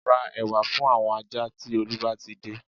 Ra ẹ̀wà fún àwọn ajá tí Olú bá ti dé